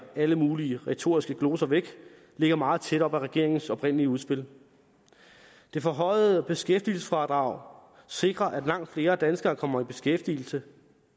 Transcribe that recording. alle mulige retoriske gloser væk ligger meget tæt op ad regeringens oprindelige udspil det forhøjede beskæftigelsesfradrag sikrer at langt flere danskere kommer i beskæftigelse